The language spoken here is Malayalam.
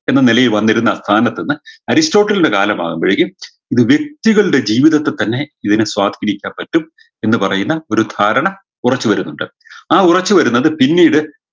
എന്ന നെലയിൽ വന്നിരുന്ന കാലത്തിൽന്ന് അരിസ്റ്റോട്ടിൽൻറെ കാലമാവുമ്പോഴേക്കും ദ് വ്യക്തികളുടെ ജീവിതത്തി തന്നെ ഇതിനെ സ്വാധീനിക്കാൻ പറ്റും എന്ന് പറയുന്ന ഒരു ധാരണ ഉറച്ചു വരുന്നുണ്ട് ആ ഉറച്ചു വരുന്നത് പിന്നീട്